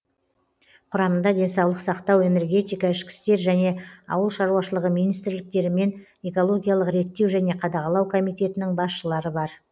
құрамында денсаулық сақтау энергетика ішкі істер және ауыл шаруашылығы министрліктері мен экологиялық реттеу және қадағалау комитетінің басшылары бар